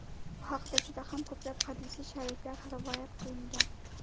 Bu haqida juda ham ko‘plab hadisi shariflar rivoyat qilingan.